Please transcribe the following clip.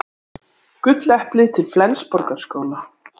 Gulleplið til Flensborgarskóla